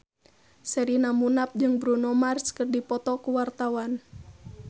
Sherina Munaf jeung Bruno Mars keur dipoto ku wartawan